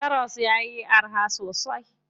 Karas yayi araha sosai.